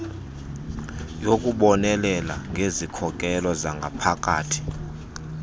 yokubonelela ngezikhokelo zangaphakathi